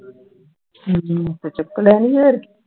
ਚੁੱਕ ਲੈਣੀ ਹੋਰ